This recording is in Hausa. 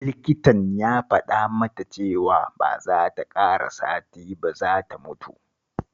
Likitan ya faɗa mata cewa ba za ta ƙara sati ba za ta mutu